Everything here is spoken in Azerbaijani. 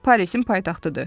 Parisin paytaxtıdır.